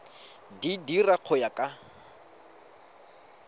di dira go ya ka